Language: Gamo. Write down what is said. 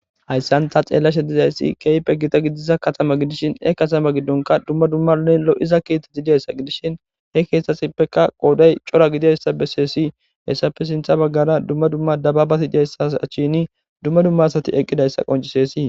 Haysa ta xelashe de'izays kehippe gotta gidida katama gidishinhe katamaza gidon duma duma lo'iza kethati dizaysa gidishin kethasika qoda daro gididaysa beses hesappe sinthe bagara dababati dizaysa achani duma duma asati eqidaysa qoncises.